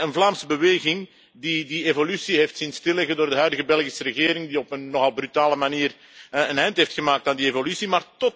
Een Vlaamse beweging die die evolutie heeft zien stilleggen door de huidige Belgische regering, die op een nogal brutale manier een eind heeft gemaakt aan die evolutie.